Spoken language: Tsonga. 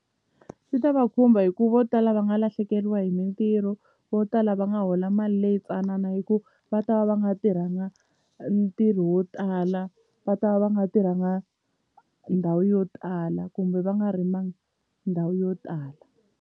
Swi ta va khumba hikuva vo tala va nga lahlekeriwa hi mintirho vo tala va nga hola mali leyi tsanana hikuva va ta va va nga tirhanga ntirho wo tala va ta va va nga tirhanga ndhawu yo tala kumbe va nga rimanga ndhawu yo tala.